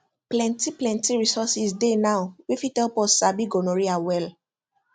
plenty plenty resources dey now wey fit help us sabi gonorrhea well